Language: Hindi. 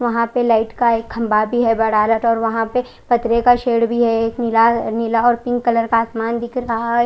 वहां पर लाईट का एक खम्बा भी है बड़ा लटोर और वहां पर खतरे का शेर भी है एक नीला नीला और पिंक कलर का आसमान दिख रहा है।